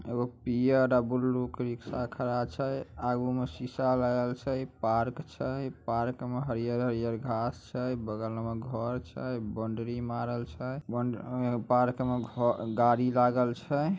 पियर blue के rickshaw खड़ा छै। आगु में शीशा लागल छै। पार्क छै पार्क में हरियर-हरियर घांस छै। बगल में घर छै बाउंड्री मारल छै। अ पार्क में घ गाड़ी लागल छै।